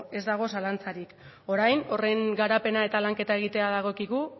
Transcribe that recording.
ez dago zalantzarik orain horren garapena eta lanketa egitea dagokigu